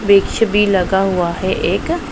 वृक्ष भी लगा हुआ है एक--